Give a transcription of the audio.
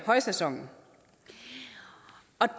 højsæsonen